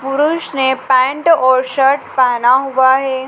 पुरुष ने पैंट और शर्ट पहना हुआ है।